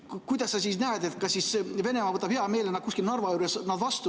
Kuidas sa näed, kas siis Venemaa võtab nad hea meelega kuskil Narva juures vastu?